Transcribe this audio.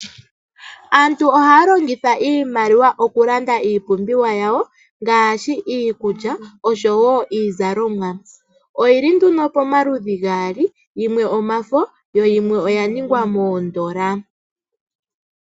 Aantu ohaya longitha iimaliwa okulanda iipumbiwa yawo ngaashi iikulya oshowo iizalomwa. Oyili nduno pomaludhi gaali yimwe omafo, yo yimwe iikukutu (oodola).